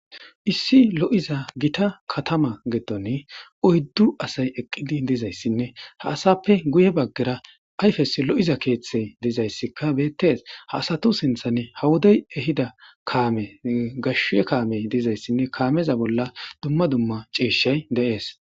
issi lo7iza gita katama geddon oyddu asay eqqidi dizayssinne ha asappe guye baggera ayfes lo7iza keeththey dizayssikka beettees ha asatu sinthan hawoday ehida kaame gashe kaamey dizayssinne kaameza bolla dumma dumma ciishay deees